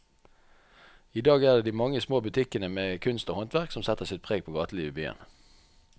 I dag er det de mange små butikkene med kunst og håndverk som setter sitt preg på gatelivet i byen.